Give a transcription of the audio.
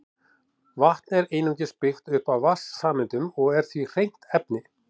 Vatn er einungis byggt upp af vatnssameindum og er því hreint efni.